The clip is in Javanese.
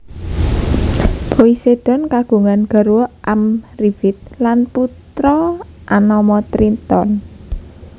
Poseidon kagungan garwa Amrifit lan putra anama Triton